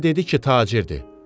Mənə dedi ki, tacirdir.